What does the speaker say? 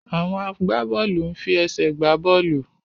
Àwọn agbábọ́ọ̀lù ń fi ẹsẹ̀ gbá bọ́ọ̀lù.